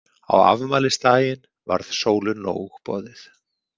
Á afmælisdaginn varð Sólu nóg boðið.